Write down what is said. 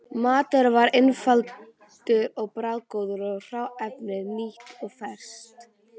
Maturinn var einfaldur og bragðgóður og hráefnið nýtt og ferskt.